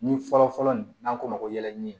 Ni fɔlɔfɔlɔ nin n'an k'o ma ko yɛlɛɲini